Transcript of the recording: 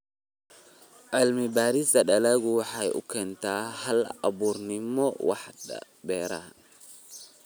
Cilmi-baarista dalaggu waxay u keentaa hal-abuurnimo waaxda beeraha.